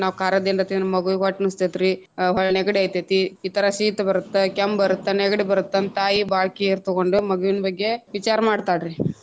ನಾವ್ ಕಾರದ ಏನಾರ ತಿಂದ್ರ ಮಗುವಿಗ ಹೊಟ್ಟಿನುವಸ್ಥೆತೀರಿ ಹೊಳ್ಳಿ ನೆಗಡಿ ಆಯ್ತೈತಿ ರೀ ಇತರ ಶೀತ ಬರತ್ತ ಕೆಮ್ಮ ಬರತ್ತ ನೆಗಡಿ ಬರತ್ತ ಅಂತ ತಾಯಿ ಬಾಳ care ತಗೊಂಡ್ ಮಗುವಿನ್ ಬಗ್ಗೆ ವಿಚಾರ ಮಾಡ್ತಾಳ ರೀ.